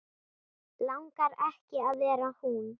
Langar ekki að vera hún.